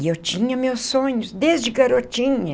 E eu tinha meus sonhos desde garotinha.